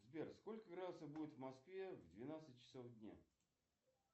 сбер сколько градусов будет в москве в двенадцать часов дня